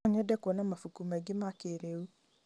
No nyende kuona mabuku maingĩ ma kĩrĩu.